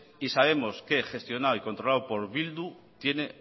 y sabemos que gestionada y controlado por bildu tiene